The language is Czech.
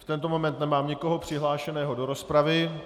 V tento moment nemám nikoho přihlášeného do rozpravy.